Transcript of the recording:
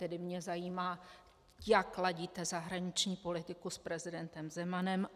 Tedy mě zajímá, jak ladíte zahraniční politiku s prezidentem Zemanem.